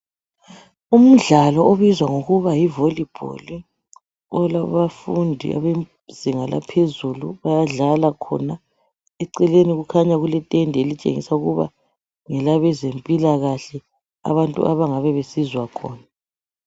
umdlalo obizwa ngokuba yi volley ball olabafundi abezinga laphezulu bayadlala khona eceleni kukhanya kule tende elitshengisa ukuba ngelabezempilakahle abantu abangabe besizwa khona